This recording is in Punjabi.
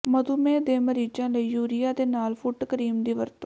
ਮਧੂਮੇਹ ਦੇ ਮਰੀਜ਼ਾਂ ਲਈ ਯੂਰੀਆ ਦੇ ਨਾਲ ਫੁੱਟ ਕਰੀਮ ਦੀ ਵਰਤੋਂ